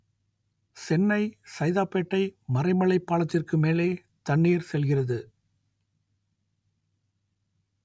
சென்னை சைதாப்பேட்டை மறைமலை பாலத்திற்கு மேலே தண்ணீர் செல்கிறது